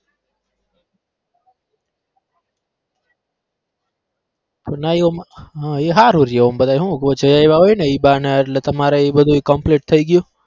હા ઈ હારું રયું આમ બધા હું ક્યાંય જઈ આયવા હોયને ઈ બાને એટલે તમારે ઈ બધું complete થઇ ગયું.